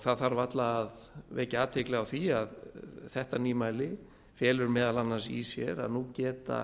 það þarf varla að vekja athygli á því að þetta nýmæli felur meðal annars í sér að nú geta